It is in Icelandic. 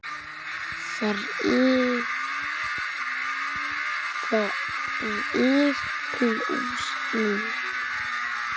Þrír plús níu.